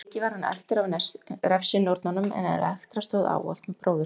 Fyrir vikið var hann eltur af refsinornunum en Elektra stóð ávallt með bróður sínum.